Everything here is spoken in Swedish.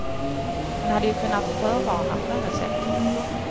Hon hade ju kunnat förvarna på något sätt.